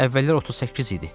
Əvvəllər 38 idi.